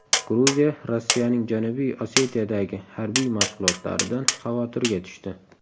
Gruziya Rossiyaning Janubiy Osetiyadagi harbiy mashg‘ulotlaridan xavotirga tushdi.